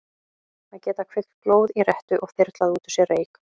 Að geta kveikt glóð í rettu og þyrlað út úr sér reyk.